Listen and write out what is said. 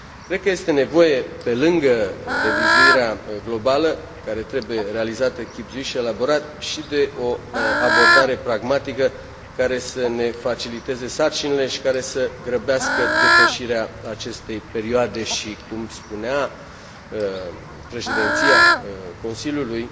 Cred că este nevoie, pe lângă revizuirea globală care trebuie realizată chibzuit și elaborat și de o abordare pragmatică, care să ne faciliteze sarcinile și care să grăbească depășirea acestei perioade și, după cum spunea Președinția Consiliului,